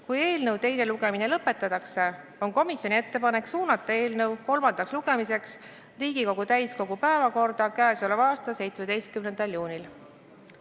Kui eelnõu teine lugemine lõpetatakse, on komisjoni ettepanek suunata eelnõu kolmandaks lugemiseks Riigikogu täiskogu päevakorda k.a 17. juuniks.